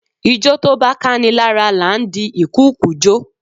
Ijó tó bá káni lára là ń di ìkùukùu jo.